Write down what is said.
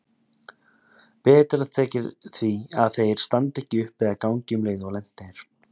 Betra þykir því að þeir standi ekki upp eða gangi um leið og lent er.